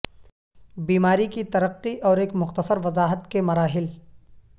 بیماری کی ترقی اور ایک مختصر وضاحت کے مراحل